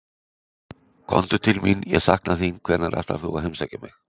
Komdu til mín, ég sakna þín, hvenær ætlar þú að heimsækja mig?